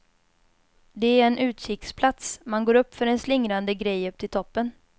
Det är en utkiksplats, man går upp för en slingrande grej upp till toppen.